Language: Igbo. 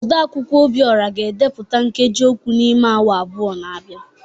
Odeakwụkwọ Obiora ga-edepụta nkeji okwu n’ime awa abụọ na-abịa